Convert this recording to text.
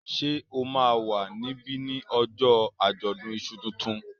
Ṣé o máa wà níbí ní ojó àjọ̀dún iṣu tuntun?